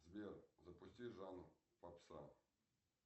сбер запусти жанр попса